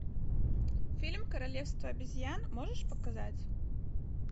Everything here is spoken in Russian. фильм королевство обезьян можешь показать